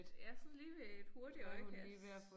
Ja sådan lige ved et hurtigt øjekast